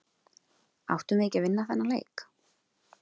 Áttum við ekki að vinna þennan leik?